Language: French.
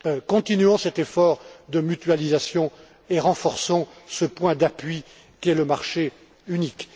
Continuons cet effort de mutualisation et renforçons ce point d'appui qu'est le marché unique.